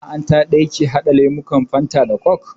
Masana'anta ɗaya ke haɗa lemukan fanta da kok